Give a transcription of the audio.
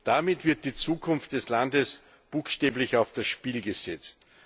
Damit wird die Zukunft des Landes buchstäblich auf's Spiel gesetzt.